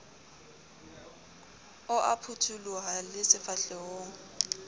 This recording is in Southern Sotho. o a phuthuloha le sefahlehong